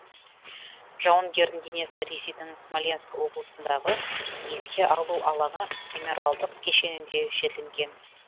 жауынгердің денесі ресейдің смоленск облысындағы еске алу алаңы мемориалдық кешенінде жерленген